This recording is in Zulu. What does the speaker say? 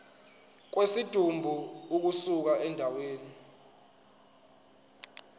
kwesidumbu ukusuka endaweni